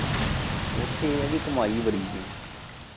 ਉੱਥੇ ਏ ਐ ਕਿ ਕਮਾਈ ਬੜੀ ਸੀ।